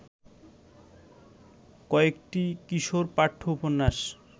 কয়েকটি কিশোরপাঠ্য উপন্যাস